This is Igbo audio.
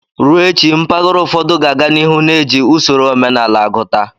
Ruo echi, mpaghara ụfọdụ ga-aga n'ihu na-eji usoro omenala agụta.